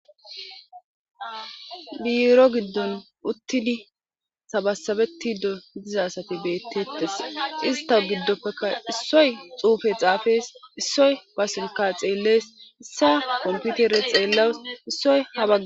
biiro giddun uttini sabasabetti do diza asati beettettes ista giddoppekka issoy xuufe xaafees issoy ba silka xeellees issa komputere xeellaws issoy habaga